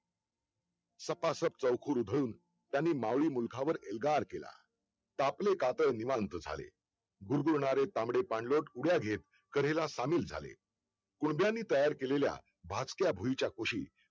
सपासप चौकट उघडून त्यांनी त्यांनी मावळी मूलघावर एल्गार केला तापले कातळ निवांत झाले भुरभुरणारे चामडे पंढोल उड्या घेत कडेला शामिल झाले मुरंग्यांनी तयार केलेल्याभाजक्या भुईच्या खुशीत